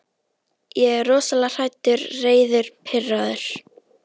Ég er rosalega hræddur, reiður, pirraður.